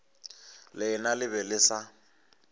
lena le be le sa